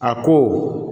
A ko